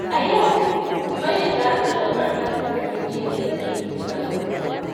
A yau, Sumayya za ta ƙoƙarta ta kasance mai sakin fuska ga kowa.